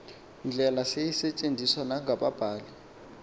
ndlela seyisetyenziswa nangababhali